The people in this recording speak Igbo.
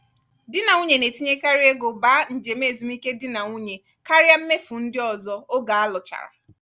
di na nwunye na-etinyekarị ego ba njem ezumike di na nwunye karịa mmefu ndị ọzọ oge alụchara.